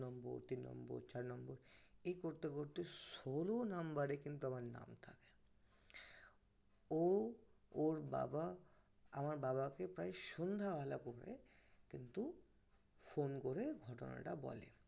চার নম্বর এই করতে করতে ষোল নম্বরে কিন্তু আমার নাম থাকে ও ওর বাবা আমার বাবাকে প্রায় সন্ধ্যা বেলা কিন্তু phone করে ঘটনাটা বলে